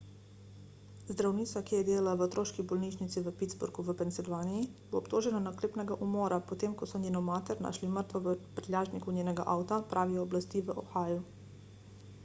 zdravnica ki je delala v otroški bolnišnici v pittsburghu v pensilvaniji bo obtožena naklepnega umora potem ko so njeno mater našli mrtvo v prtljažniku njenega avta pravijo oblasti v ohiu